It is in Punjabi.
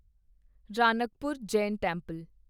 ਰਾਣਕਪੁਰ ਜੈਨ ਟੈਂਪਲ